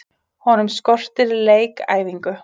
Honum skortir leikæfingu.